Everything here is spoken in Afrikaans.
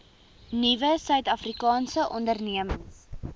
nuwe suidafrikaanse ondernemings